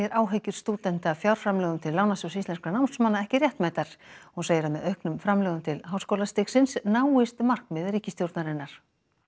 áhyggjur stúdenta af fjárframlögum til Lánasjóðs íslenskra námsmanna ekki réttmætar hún segir að með auknum framlögum til háskólastigsins náist markmið ríkisstjórnarinnar